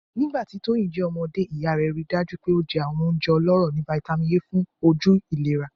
Nigbati Toyin jẹ ọmọde iya rẹ rii daju pe o jẹ awọn ounjẹ ọlọrọ ni Vitamin A fun oju ilera